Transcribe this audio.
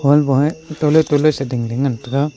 tole tole ding ding ngan tega.